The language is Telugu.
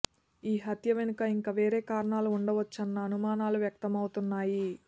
ఈ హత్య వెనుక ఇంకా వేరే కారణాలు ఉండవచ్చన్న అనుమానాలు వ్యక్తమవుతున్నాయి